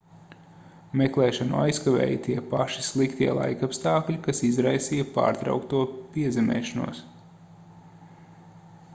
meklēšanu aizkavēja tie paši sliktie laikapstākļi kas izraisīja pārtraukto piezemēšanos